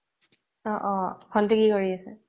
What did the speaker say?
অ অ ভন্তি কি কৰি আছে